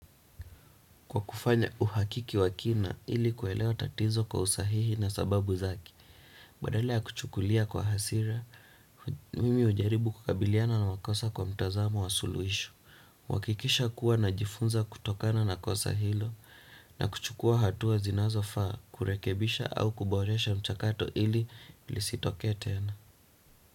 Kwa kufanya uhakiki wa kina, ili kuelewa tatizo kwa usahihi na sababu zake, badala kuchukulia kwa hasira, mimi ujaribu kukabiliana na makosa kwa mtazamo wa suluhisho, kuhakikisha kuwa na jifunza kutokana na kosa hilo, na kuchukua hatua zinazofaa kurekebisha au kuboresha mchakato ili lisitokee tena.